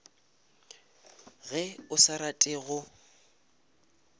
ge o sa rate go